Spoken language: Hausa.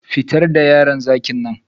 Fitar da yaron zakin nan